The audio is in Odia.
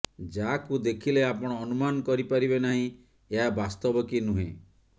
ଯାହାକୁ ଦେଖିଲେ ଆପଣ ଅନୁମାନ କରି ପାରିବେ ନାହିଁ ଏହା ବାସ୍ତବ କି ନୁହେଁ